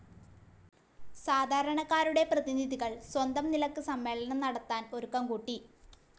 സാധാരണക്കാരുടെ പ്രതിനിധികൾ സ്വന്തം നിലക്ക് സമ്മേളനം നടത്താൻ ഒരുക്കം കൂട്ടി.